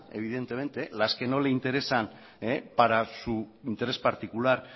evidentemente las que no le interesan para su interés particular